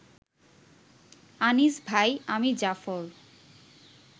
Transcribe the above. আনিস ভাই, আমি জাফর